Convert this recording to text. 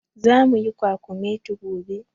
Zamu yi kwakumeti gobe.